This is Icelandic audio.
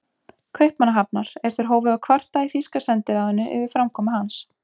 Kaupmannahafnar, er þeir hófu að kvarta í þýska sendiráðinu yfir framkomu hans.